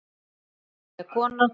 Ótrúleg kona.